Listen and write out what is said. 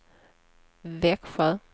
Växjö